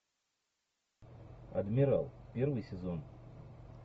адмирал первый сезон